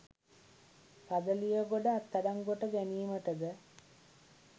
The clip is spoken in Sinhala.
රදලියගොඩ අත්අඩංගුවට ගැනීමටද